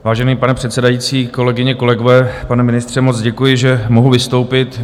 Vážený pane předsedající, kolegyně, kolegové, pane ministře, moc děkuji, že mohu vystoupit.